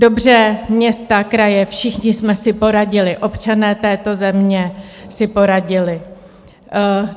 Dobře, města, kraje, všichni jsme si poradili, občané této země si poradili.